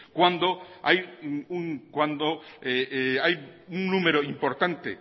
cuando hay un número importante